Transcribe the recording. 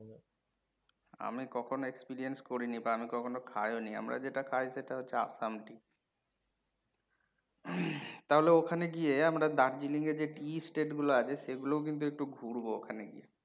আমি কখনো experience করিনি বা আমি কখনো খাই ও নি। আমরা যেটা খাই সেটা হচ্ছে আসাম tea তাহলে ওখানে গিয়ে আমরা Darjeeling এ যে tea state গুলো আছে সেগুলো কিন্তু একটু ঘুরবো ওখানে গিয়ে।